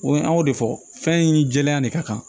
O ye an y'o de fɔ fɛn in jɛya de ka kan